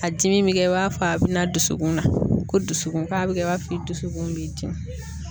A dimi bi kɛ i b'a fɔ a bi na dusukun na ko dusukun k'a bi kɛ i b'a fɔ i dusukun b'i dimi